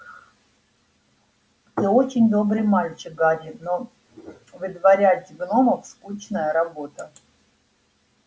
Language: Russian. ты очень добрый мальчик гарри но выдворять гномов скучная работа